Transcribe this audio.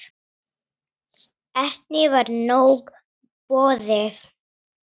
Erni var nóg boðið.